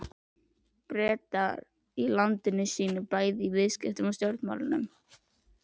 Breta í landi sínu bæði í viðskiptum og stjórnmálum.